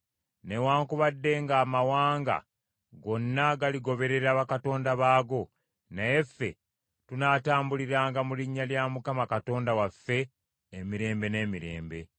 Newaakubadde nga amawanga gonna galigoberera bakatonda baago, naye ffe tunaatambuliranga mu linnya lya Mukama Katonda waffe emirembe n’emirembe.